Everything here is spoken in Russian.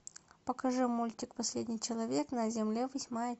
покажи мультик последний человек на земле восьмая